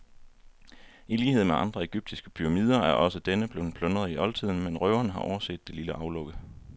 I lighed med andre egyptiske pyramider er også denne blevet plyndret i oldtiden, men røverne har overset det lille aflukke.